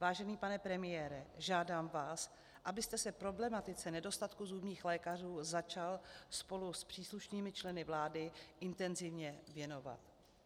Vážený pane premiére, žádám vás, abyste se problematice nedostatku zubních lékařů začal spolu s příslušnými členy vlády intenzivně věnovat.